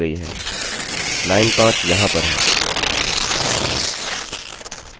अब यहाँ पर दृष्टिगत रूप से यह गलत नहीं है